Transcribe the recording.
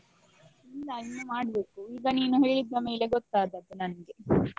ಇಲ್ಲ ಇನ್ನು ಮಾಡ್ಬೇಕು ಈಗ ನೀನು ಹೇಳಿದ ಮೇಲೆ ಗೊತ್ತಾದದ್ದು ನನ್ಗೆ.